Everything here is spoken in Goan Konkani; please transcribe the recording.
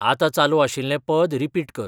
आता चालू आशिल्लें पद रिपीट कर